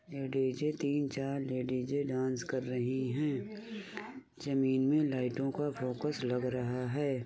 ये डी.जे. तीन-चार ladies dance कर रही हैं। जमीनी लाईटों का फोकस लग रहा है।